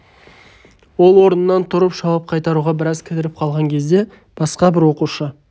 ол орнынан тұрып жауап қайтаруға біраз кідіріп қалған кезде басқа бір оқушы